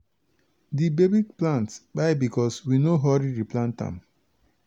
di baby plant pai becos we no hurry replant am.